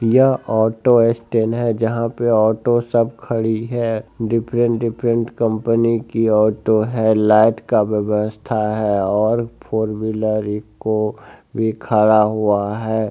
यह auto stand है जहाँ पर ऑटो सब खड़ी है डिफरेंट डिफरेंट कंपनी की ऑटो हैं लाइट का व्यवस्था है और फोर व्हीलर ईको भी खड़ा हुआ है।